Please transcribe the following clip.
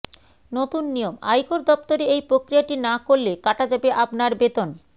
নতুন নিয়ম আয়কর দপ্তরে এই প্রক্রিয়াটি না করলে কাটা যাবে আপনার বেতন